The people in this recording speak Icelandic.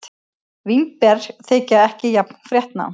Vínber þykja ekki jafn fréttnæm.